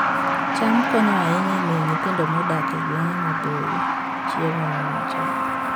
cham konyo ahinya e miyo nyithindo modak e gwenge maboyo chiemo mowinjore